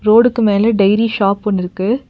ரோடுக்கு மேல dairy shop ஒன்னுருக்கு.